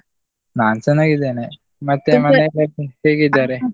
ನಾನ್ ಚೆನ್ನಾಗಿದ್ದೇನೆ, ಮತ್ತೆ ಹೇಗಿದ್ದಾರೆ?